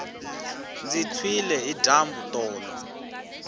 ndzi tshwile hi dyambu tolo